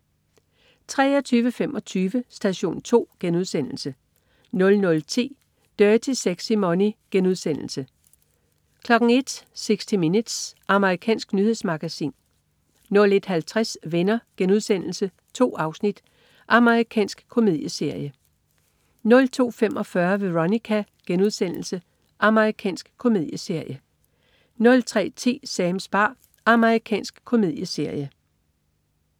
23.25 Station 2* 00.10 Dirty Sexy Money* 01.00 60 Minutes. Amerikansk nyhedsmagasin 01.50 Venner.* 2 afsnit. Amerikansk komedieserie 02.45 Veronica.* Amerikansk komedieserie 03.10 Sams bar. Amerikansk komedieserie